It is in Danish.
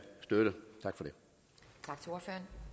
støtte tak for